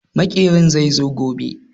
Maƙeri zai zo gobe.